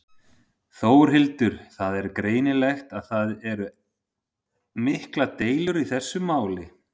Þórhildur: Það er greinilegt að það eru miklar deilur í þessu máli?